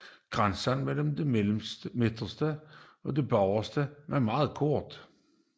Græsset mellem det mellemste og bagerste var meget kort